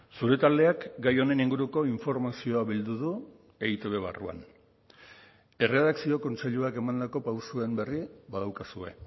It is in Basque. zure taldeak gai honen inguruko informazioa bildu du eitb barruan erredakzio kontseiluak emandako pausuen berri badaukazue